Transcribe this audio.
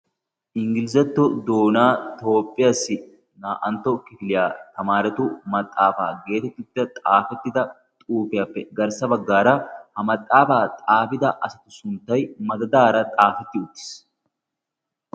Inggiliizetto doona toophphiyaasi naa''antto kifiliyaa tamaaratu maxaafaa geetettida xaafettida xuufiyaappe garssa baggaara ha maxaafaa xaafida asatu sunttai madadaara xaafetti uttiis